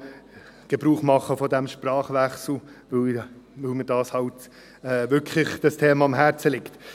und zu von diesem Sprachwechsel Gebrauch, weil mir dieses Thema halt wirklich am Herzen liegt.